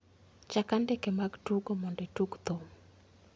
Chak andike mar tugo mondo itug thum